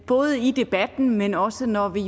både i debatten men også når vi